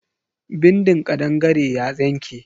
Bindin kadangare ya yanke.